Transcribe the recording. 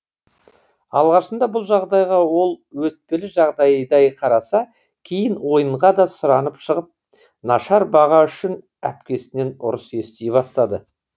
алғашында бұл жағдайға ол өтпелі жағдайдай қараса кейін ойынға да сұранып шығып нашар баға үшін әпкесінен ұрыс ести бастады